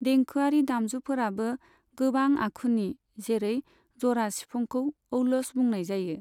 देंखोयारि दामजुफोराबो गोबां आखुनि, जेरै जरा सिफुंखौ औलस बुंनाय जायो।